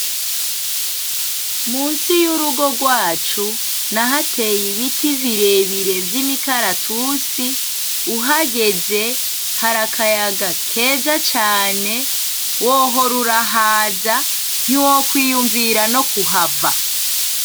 Musi yurugo rwacu nahateye ibiti birebire vyimikaratusi, uhageze hari akayaga keza cane wohora urahaza ntiwokwiyumvira nokuhava.